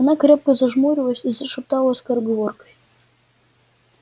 она крепко зажмурилась и зашептала скороговоркой